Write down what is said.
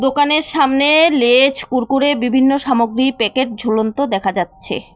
দোকানের সামনে লেছ কুরকুরে বিভিন্ন সামগ্রী প্যাকেট ঝুলন্ত দেখা যাচ্ছে।